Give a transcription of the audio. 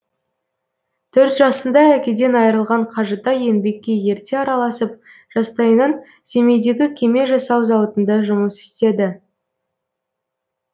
төрт жасында әкеден айрылған қажытай еңбекке ерте араласып жастайынан семейдегі кеме жасау зауытында жұмыс істеді